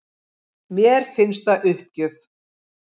Mér finnst það uppgjöf